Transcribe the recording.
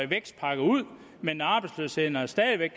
vækstpakker ud men arbejdsløsheden er stadig væk